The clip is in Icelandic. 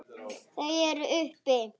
Þau eru uppi.